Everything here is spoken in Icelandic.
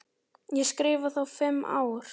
Ég skrifa þá fimm ár.